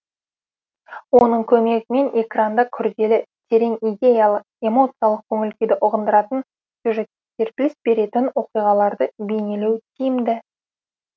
оның көмегімен экранда күрделі терең идеялы эмоциялық көңіл күйді ұғындыратын сюжетке серпіліс беретін оқиғаларды бейнелеу тиімді